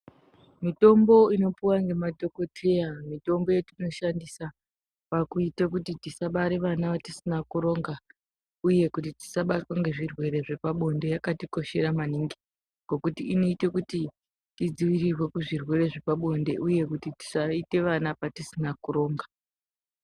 Mitombo inopiwe nemadhokodheya mitombo yatinoshandisa pakuite kuti tisabare vana vatisina kuronga uye kuti tisabatwe nezvirwere zvepabonde yakatikoshera maningi ngokuti inoita kuti tidzivirirwe kuzvirwere zvepabonde uye kuti tisaite vana patisina kuronga.